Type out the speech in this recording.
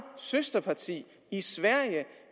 søsterparti i sverige